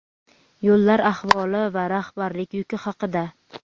yo‘llar ahvoli va rahbarlik yuki haqida.